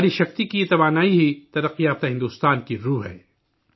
خواتین کی طاقت کی یہ توانائی ہی ترقی یافتہ ہندوستان کی جان ہے